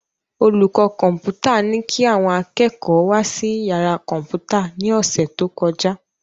Olùkọ́ Kọ́mpútà ní kí àwọn akẹ́kọ̀ọ́ wá sí yàrá Kọ́mpútà ní ọ̀sẹ̀ tó kọjá